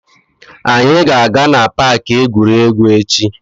Anyị ga-aga na paaki egwuregwu echi.